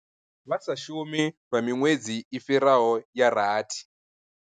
Vha sa shumi lwa miṅwedzi i fhiraho ya rathi.